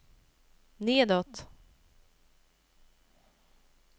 nedåt